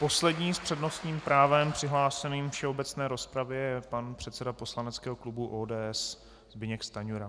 Poslední s přednostním právem přihlášeným k všeobecné rozpravě je pan předseda poslaneckého klubu ODS Zbyněk Stanjura.